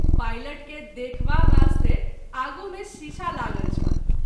Pilot के देखवा वास्ते आगू मे शीशा लागल छल।